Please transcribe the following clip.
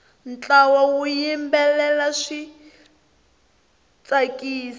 ntlawa wu yimbelela swi tsakisa